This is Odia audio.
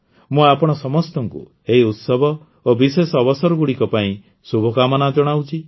ମୁଁ ଆପଣ ସମସ୍ତଙ୍କୁ ଏହି ଉତ୍ସବ ଏବଂ ବିଶେଷ ଅବସରଗୁଡ଼ିକ ପାଇଁ ଶୁଭକାମନା ଜଣାଉଛି